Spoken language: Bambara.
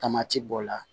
Tamati bɔ la